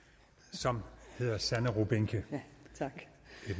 som hedder sanne rubinke et